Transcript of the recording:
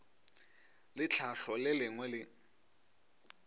le tlhahlo le lengwe le